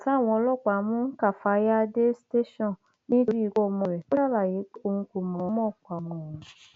nígbà táwọn ọlọpàá mú káfáyà dé tẹsán nítorí ikú ọmọ rẹ ó ṣàlàyé pé òun kò mọọnmọ pa ọmọ òun